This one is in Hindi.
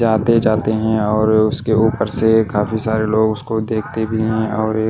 आते जाते और उसके ऊपर से काफी सारे लोगों ऊसको देखते भी हैं और ये--